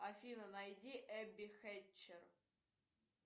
афина найди эбби хетчер